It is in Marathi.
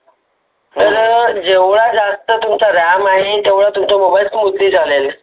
तर जेव्हा जास्त तुमचा ram आहे तेवढा जास्त तुमच्या mobile उच्च चालेल.